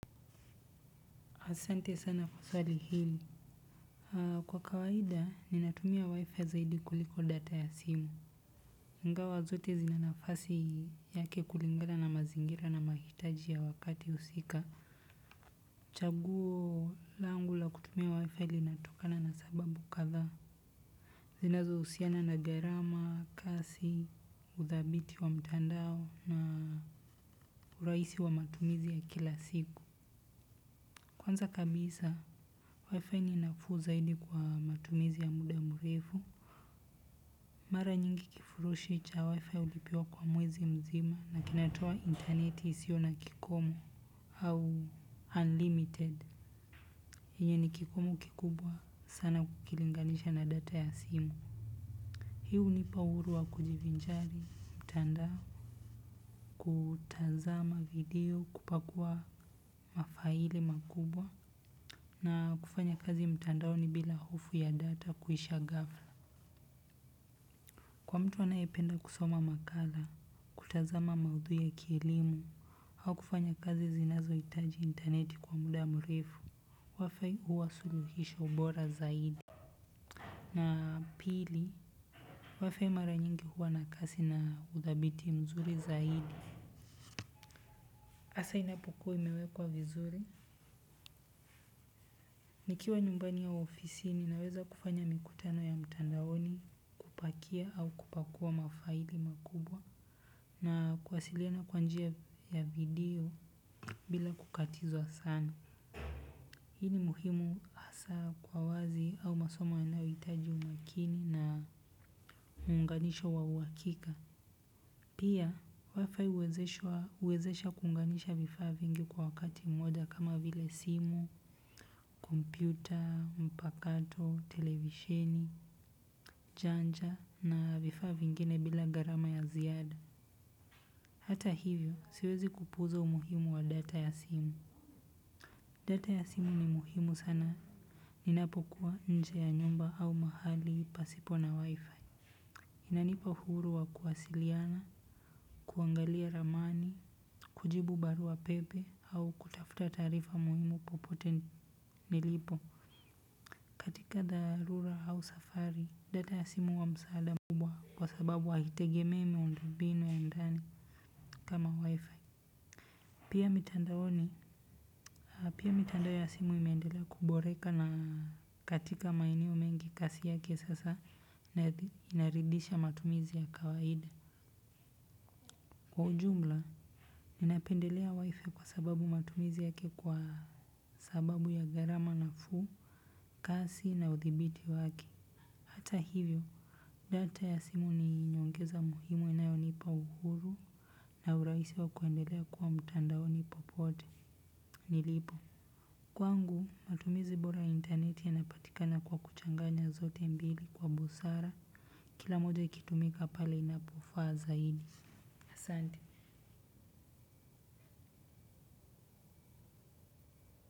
Asante sana kwa swali hili. Kwa kawaida, ninatumia WiFi zaidi kuliko data ya simu. Ingawa zote zinanafasi yake kulingana na mazingira na mahitaji ya wakati usika, chaguo langu la kutumia WiFi linatokana na sababu kathaa. Zinazo usiana na gharama, kasi, udhabiti wa mtandao na uraisi wa matumizi ya kila siku. Kwanza kabisa, WiFi ni nafuu zaidi kwa matumizi ya muda murefu. Mara nyingi kifurushi cha WiFi ulipiwa kwa mwezi mzima na kinatoa interneti isiyo na kikomo. Au, unlimited. Hiye ni kikumu kikubwa sana ukilinganisha na data ya simu. Hii unipa uhuru wa kujivinjari mtandao. Kuutazama video, kupakua mafaile makubwa. Na kufanya kazi mtandaoni bila hofu ya data kuisha ghafla. Kwa mtu anayependa kusoma makala, kutazama maudhui ya kielimu, au kufanya kazi zinazo itaji interneti kwa muda mrefu WiFi huwa suluhisho bora zaidi. Na pili, WiFi mara nyingi huwa na kasi na udhabit mzuri zaidi. Asa inapukuwa imewekwa vizuri. Nikiwa nyumbani au ofisini, naweza kufanya mikutano ya mtandaoni, kupakia au kupakua mafaili makubwa na kuwasiliana kwa njia ya video, bila kukatizwa sana. Hii ni muhimu hasa kwa wazi au masomo yanayoitaji umakini na, unganisho wa uwakika. Pia WiFi huwezesha kuunganisha vifaa vingi kwa wakati mmoja, kama vile simu, kompyuta, mpakato, televisheni, janja na vifaa vingine bila gharama ya ziada. Hata hivyo, siwezi kupuuza umuhimu wa data ya simu. Data ya simu ni muhimu sana. Ninapokua nje ya nyumba au mahali pasipo na Wifi. Inanipa uhuru wa kuwasiliana, kuangalia ramani, kujibu baruapepe au kutafuta taarifa muhimu, popote nilipo. Katika dharura au safari, data ya simu huwa msaada mkubwa kwa sababu havitegemi muundo mbini ya ndani kama wifi. Pia mitandaoni, pia mitandao ya simu imeendelea kuboreka na katika maeneo mengi kazi yake sasa inaridhisha matumizi ya kawaida. Kwa ujumla, ninapendelea wifi kwa sababu matumizi yake kwa sababu ya gharama nafuu, kasi na uthibiti wake. Hata hivyo, data ya simu ni nyongeza muhimu inayo nipa uhuru na urahisi wa kuendelea kuwa mitandaoni popote nilipo. Kwangu matumizi bora ya intaneti inapatikana kwa kuchanganya zote mbili kwa busara kila moja ikitumika pale inapofaa zaidi. Asante.